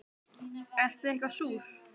Ertu eitthvað súr?